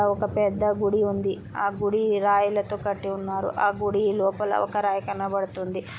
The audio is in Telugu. ఒక పెద్ద గుడి ఉంది. ఆ గుడి రాయ్ లతో కట్టి ఉన్నారు. ఆ గుడి లోపల ఒక రాయ్ కనబడుతుంది.